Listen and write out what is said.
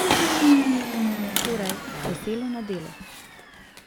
Torej, veselo na delo.